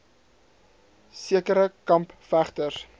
sekere kamp vegters